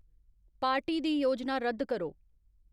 party दी योजना रद्द करो